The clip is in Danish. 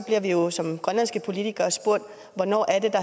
vi jo som grønlandske politikere spurgt hvornår